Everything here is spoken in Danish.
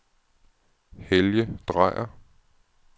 Helge Dreyer